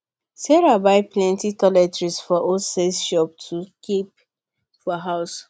sarah buy plenty toiletries for wholesale shop to kip for house